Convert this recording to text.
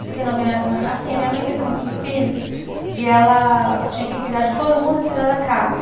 Porque na minha, assim, a mãe teve muitos filhos, e ela tinha que cuidar de todo mundo e cuidar da casa.